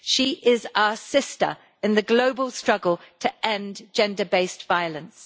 She is our sister in the global struggle to end gender based violence.